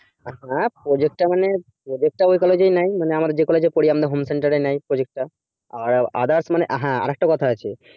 হ্যাঁ project টা মানে project টা ঐ college এই নেয় মানে আমাদের home centre এ নেয় project টা আর হ্যাঁ আরেকটা কথা আছে